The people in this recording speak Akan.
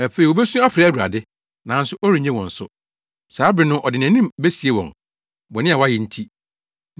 Afei wobesu afrɛ Awurade, nanso ɔrennye wɔn so. Saa bere no ɔde nʼanim besie wɔn, bɔne a wɔayɛ nti.